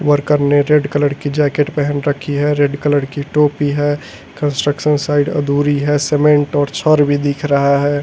Worker ने red colour की jacket पहन रखी है रेड कलर की टोपी है कंस्ट्रक्शन साइड अधूरी है सीमेंट और छर भी दिख रहा है।